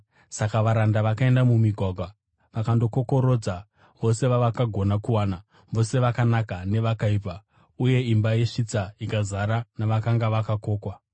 Saka varanda vakaenda mumigwagwa vakandokokorodza vose vavakagona kuwana, vose vakanaka nevakaipa, uye imba yesvitsa ikazara navakanga vakokwa.